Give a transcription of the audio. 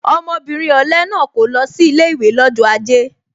Ọmọbìnrin ọ̀le náà kò lọ sí ilé ìwé lọ́jọ́ aje